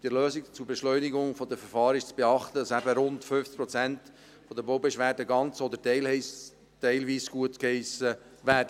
Bei der Lösung zur Beschleunigung der Verfahren ist zu beachten, dass rund 50 Prozent der Baubeschwerden entweder ganz oder teilweise gutgeheissen werden.